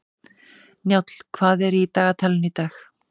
Njáll, hvað er í dagatalinu í dag?